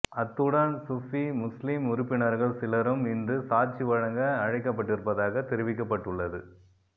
அத்துடன் சுஃபி முஸ்லிம் உறுப்பினர்கள் சிலரும் இன்று சாட்சிவழங்க அழைக்கப்பட்டிருப்பதாக தெரிவிக்கப்பட்டுள்ளது